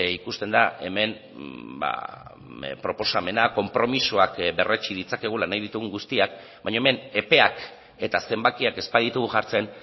ikusten da hemen proposamena konpromisoak berretsi ditzakegula nahi ditugun guztiak baina hemen epeak eta zenbakiak ez baditugu jartzen